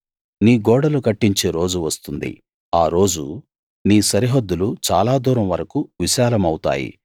నీ గోడలు కట్టించే రోజు వస్తుంది ఆరోజు నీ సరిహద్దులు చాలా దూరం వరకూ విశాలమవుతాయి